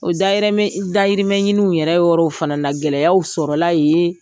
O dayɛrɛmɛ i dayirimɛɲiniw yɛrɛ yɔrɔw fana na gɛlɛyaw sɔrɔla yee